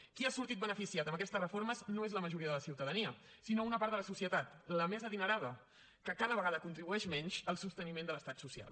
qui ha sortit beneficiat amb aquestes reformes no és la majoria de la ciutadania sinó una part de la societat la més adinerada que cada vegada contribueix menys al sosteniment de l’estat social